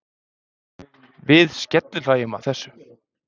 Við skellihlæjum að þessu.